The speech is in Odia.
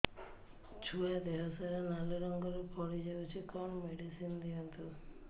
ଛୁଆ ଦେହ ସାରା ନାଲି ରଙ୍ଗର ଫଳି ଯାଇଛି କଣ ମେଡିସିନ ଦିଅନ୍ତୁ